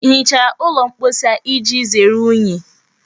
Ị hichara ụlọ mposi a iji zere unyi?